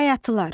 Bayatılar.